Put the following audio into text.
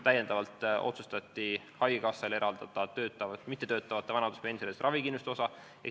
Täiendavalt otsustati, et haigekassa eraldab mittetöötavate vanaduspensionäride ravikindlustuse osa.